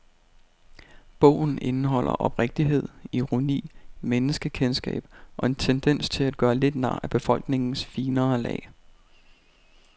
Bogen indeholder oprigtighed, ironi, menneskekendskab og en tendens til at gøre lidt nar af befolkningens finere lag.